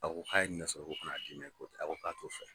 A ko k'a ye nɛgɛ sɔrɔ ko ka n'a di ne ko aw ko k'a t'o fɛ